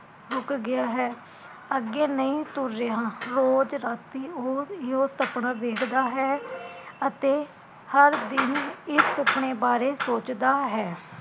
ਰੁਕ ਗਿਆ ਹੈ, ਅੱਗੇ ਨਹੀਂ ਤੁਰ ਰਿਹਾ, ਰੋਜ਼ ਰਾਤੀ ਉਹ ਈਹੋ ਸੁਪਨਾ ਵੇਖਦਾ ਹੈ ਅਤੇ ਹਰ ਦਿਨ ਇਸ ਸੁਪਨੇ ਬਾਰੇ ਸੋਚਦਾ ਹੈ